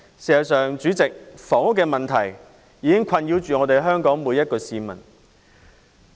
代理主席，房屋問題已經困擾香港每一位市民。